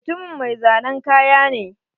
Mutumin mai zanen kaya ne.